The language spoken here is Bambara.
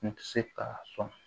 N tɛ se ka sɔn